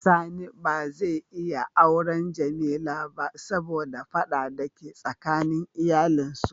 Sani ba za ya iya awren Jamila ba saboda fada da ke tsakanin iyalin su.